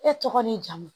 E tɔgɔ n'i jamu